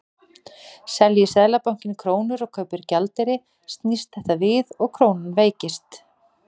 Selji Seðlabankinn krónur og kaupir gjaldeyri snýst þetta við og krónan veikist.